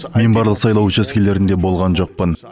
мен барлық сайлау учаскелерінде болған жоқпын